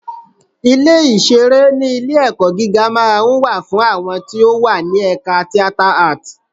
Ilé ìṣeré ní ilé-ẹ̀kọ́ gíga máa ń wà fún àwọn tí ó wà ní ẹ̀ka Theatre Art.